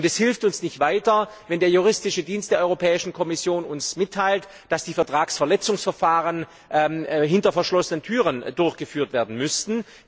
Es hilft uns nicht weiter, wenn der Juristische Dienst der Europäischen Kommission uns mitteilt, dass die Vertragsverletzungsverfahren hinter verschlossenen Türen durchgeführt werden müssten.